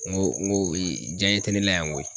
N go n go diyaɲɛ te ne la yan koyi